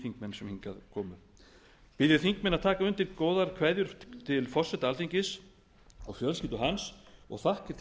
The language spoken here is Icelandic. þingmenn sem hingað komu bið ég þingmenn að taka undir góðar kveðjur til forseta alþingis og fjölskyldu hans og þakkir til